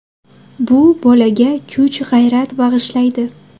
Bu bolaga kuch, g‘ayrat bag‘ishlaydi.